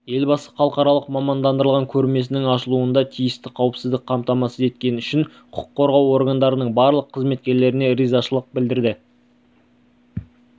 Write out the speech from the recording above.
елбасы халықаралық мамандандырылған көрмесінің ашылуында тиісті қауіпсіздікті қамтамасыз еткені үшін құқық қорғау органдарының барлық қызметкерлеріне ризашылық